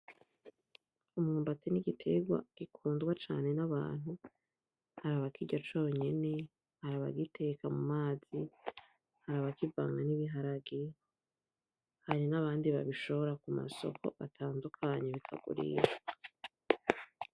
Umwumbati ni igitegwa gikundwa cane nabantu hari abakirya conyene ; hari abagiteka mumazi ; hari abakivanga nibiharage hari nabandi babishora kumasoko atandukanye bikagurishwa .